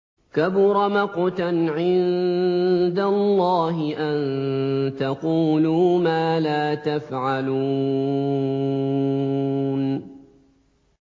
كَبُرَ مَقْتًا عِندَ اللَّهِ أَن تَقُولُوا مَا لَا تَفْعَلُونَ